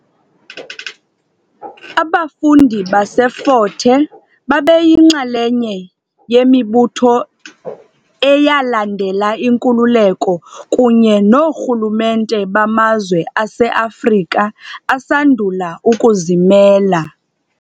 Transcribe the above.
Abafundi baseFort Hare babeyinxalenye yemibutho eyalandela inkululeko kunye noorhulumente bamazwe aseAfrika asandula ukuzimela.